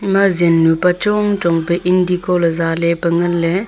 ema zen nu pa chong chong pe indigo ley zeh ley pe ngan ley.